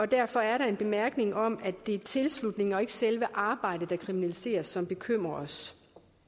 derfor er der en bemærkning om at det er tilslutningen og ikke selve arbejdet der kriminaliseres som bekymrer os